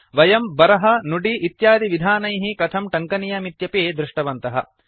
वयं बरह नुडि इत्यादिविधानैः कथं टङ्कनीयमित्यपि दृष्टवन्तः